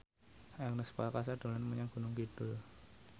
Ernest Prakasa dolan menyang Gunung Kidul